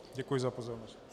Děkuji za pozornost.